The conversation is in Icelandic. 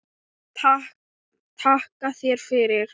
Takka þér fyrir